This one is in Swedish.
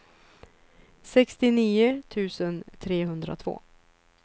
sextionio tusen trehundratvå